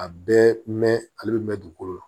A bɛɛ mɛn ale bɛ mɛn dugukolo la